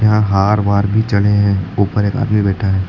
यहां हार वार भी चढे हैं ऊपर एक आदमी बैठा है।